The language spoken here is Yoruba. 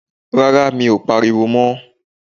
Rárá, mi ò pariwo mọ.